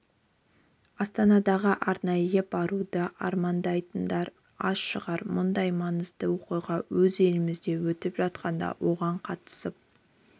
астанаға арнайы баруды армандамайтындар аз шығар мұндай маңызды оқиға өз елімізде өтіп жатқанда оған қатысып